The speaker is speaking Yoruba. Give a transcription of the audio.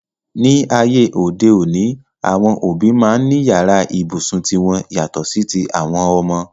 Ní ayé òde òní, àwọn òbí máa ń ní yàrá ibùsùn ti wọn yàtọ̀ sí ti àwọn ọmọ.